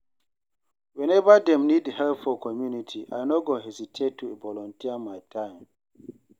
Whenever dem need help for community, I no go hesitate to volunteer my time.